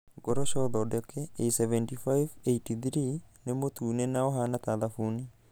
Ngoroco thondeke A75/83 nĩ mũtune na ũhaana ta thabuni.